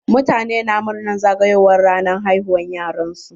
Mutane na murnar zagowar ranar haihuwa wa yaran su.